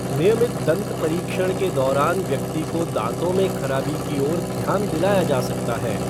नियमित दंत परीक्षण के दौरान व्यक्ति को दाँतों में खराबी की ओर ध्यान दिलाया जा सकता है।